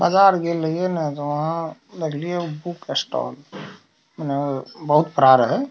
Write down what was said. बाजार गेल हलई ना त वहाँ देखलियो बुक स्टॉल मने बहुत बड़ा रहे।